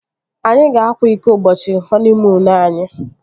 Anyị ga-akwa iko ụbọchị họniimuunu anyi